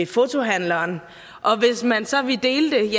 fotohandleren og hvis man så ville dele